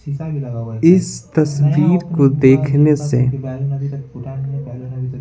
इस तस्वीर को देखने से--